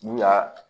N'u y'a